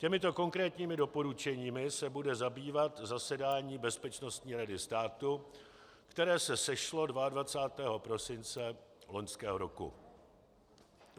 Těmito konkrétními doporučeními se bude zabývat zasedání Bezpečnostní rady státu, které se sešlo 22. prosince loňského roku.